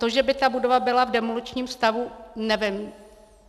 To, že by ta budova byla v demoličním stavu, nevím.